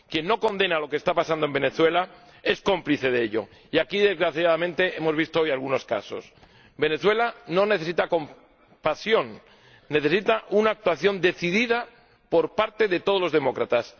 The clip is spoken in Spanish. Quien no condena lo que está pasando en Venezuela es cómplice de ello, y aquí, desgraciadamente, hemos visto hoy algunos casos. Venezuela no necesita compasión, necesita una actuación decidida por parte de todos los demócratas